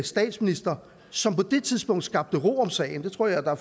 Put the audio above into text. statsminister som på det tidspunkt skabte ro om sagen det tror jeg der